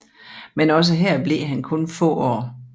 Men også her blev han kun få år